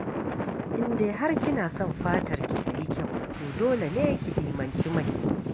In dai har kina son fatarki ta yi kyau, to dole ne ki dimanci mai.